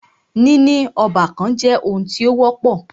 Níní ọ́bàkan jẹ́ oun tí o wọ́pọ̀.